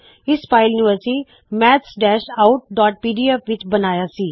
ਇਸ ਫ਼ਾਇਲ ਨੂੰ ਅਸੀ maths outਪੀਡੀਐਫ ਵਿੱਚ ਬਣਾਉਆ ਸੀ